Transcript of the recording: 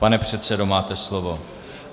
Pane předsedo, máte slovo.